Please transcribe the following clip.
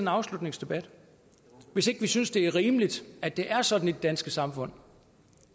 afslutningsdebat hvis ikke vi synes det er rimeligt at det er sådan i det danske samfund